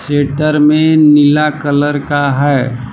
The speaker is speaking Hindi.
सेटर में नीला कलर का है।